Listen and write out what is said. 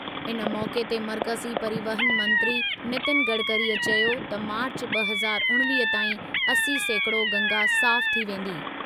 इन मौक़े ते मर्कज़ी परिवहन मंत्री नितिन गडकरीअ चयो त मार्चु ॿ हज़ार उणिवीह ताईं असी सैकोड़ो गंगा साफ़ु थी वेंदी।